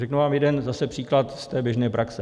Řeknu vám jeden zase příklad z té běžné praxe.